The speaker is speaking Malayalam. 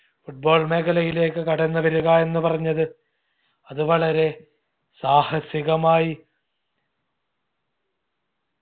football മേഖലയിലേക്ക് കടന്ന് വരുക എന്ന് പറഞ്ഞത് അത് വളരെ സാഹസികമായി